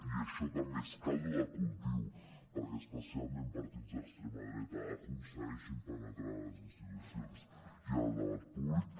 i això també és caldo de cultiu perquè especialment partits d’extrema dreta aconsegueixin penetrar a les institucions i en el debat públic